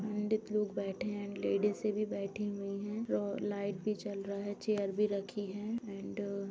पंडित लोग़ बैठे हैं। लेडिज भी बैठी हुई हैं और लाइट भी जल रही है चेयर भी रखी हैं। एंड --